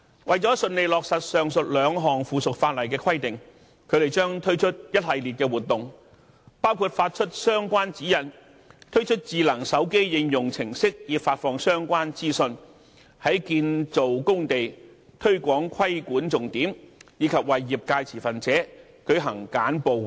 為了順利落實上述兩項附屬法例的規定，他們將推出一系列活動，包括發出相關指引，推出智能手機應用程式以發放相關資訊；在建造工地推廣規管重點；以及為業界持份者舉行簡報會等。